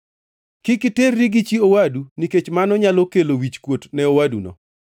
“ ‘Kik iterri gi chi owadu nikech mano nyalo kelo wichkuot ne owaduno.